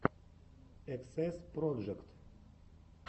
эксэс проджект